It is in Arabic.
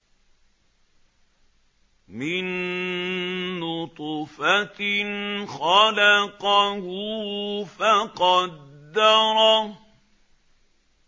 مِن نُّطْفَةٍ خَلَقَهُ فَقَدَّرَهُ